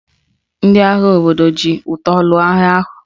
Ndị agha obodo ha ji ụta lụọ agha ahụ